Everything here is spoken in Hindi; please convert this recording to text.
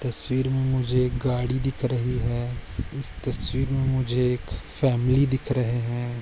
तस्वीर मे मुझे एक गाडी दिख रही है इस तस्वीर मे मुझे एक फॅमिली दिख रहे है।